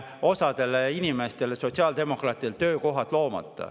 Osale inimestele, sotsiaaldemokraatidele, on veel töökohad loomata.